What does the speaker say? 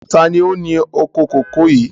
Taàní ó ní oko kòkó yìí?